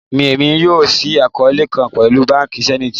Emi yoo ṣii akọọlẹ kan pẹlu banki Zenith